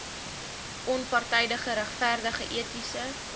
onpartydige regverdige etiese